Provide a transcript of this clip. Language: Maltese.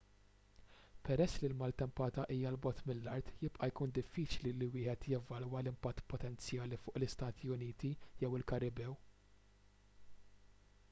peress li l-maltempata hija l bogħod mill-art jibqa' jkun diffiċli li wieħed jevalwa l-impatt potenzjali fuq l-istati uniti jew il-karibew